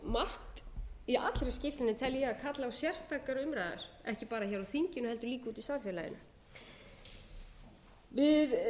margt í allri skýrslunni tel ég að kalli á sérstakar umræður ekki bara hér á þinginu heldur líka úti í samfélaginu við